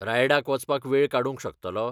रायडाक वचपाक वेळ काडूंक शकतलो?